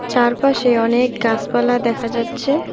চারপাশে অনেক গাসপালা দেখা যাচ্ছে।